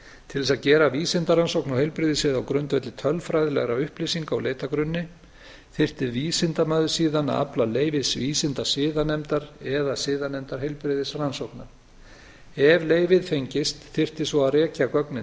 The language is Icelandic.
til þess að gera vísindarannsókn á heilbrigðissviði á grundvelli tölfræðilegra upplýsinga úr leitargrunni þyrfti vísindamaður síðan að afla leyfis vísindasiðanefndar eða siðanefndar heilbrigðisrannsókna ef leyfið fengist þyrfti svo að rekja gögnin